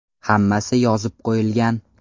Hammasi yozib qo‘yilgan.